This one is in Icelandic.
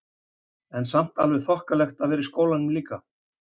En samt alveg þokkalegt að vera í skólanum líka?